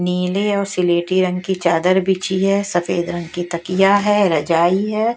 नीले और सिलेटी रंग की चादर बिची है सफेद रंग की तकिया है रजाई है।